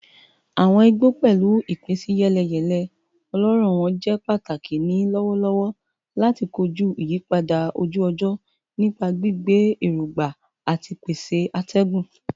Awọn igbo, pẹlu ipinsiyeleyele ọlọrọ wọn, jẹ pataki ni lọwọlọwọ lati koju iyipada oju-ọjọ nipa gbigbe erogba ati pese atẹgun